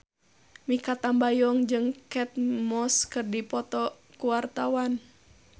Mikha Tambayong jeung Kate Moss keur dipoto ku wartawan